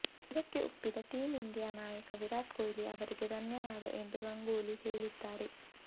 ಇದಕ್ಕೆ ಒಪ್ಪಿದ team India ನಾಯಕ ವಿರಾಟ್ ಕೊಹ್ಲಿ ಅವರಿಗೂ ಧನ್ಯವಾದ ಎಂದು ಗಂಗೂಲಿ ಹೇಳಿದ್ದಾರೆ